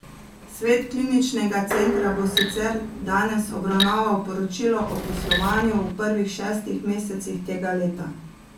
Svet kliničnega centra bo sicer danes obravnaval poročilo o poslovanju v prvih šestih mesecih tega leta.